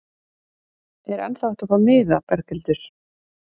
Er ennþá hægt að fá miða, Berghildur?